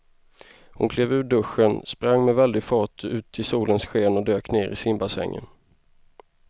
Hon klev ur duschen, sprang med väldig fart ut i solens sken och dök ner i simbassängen.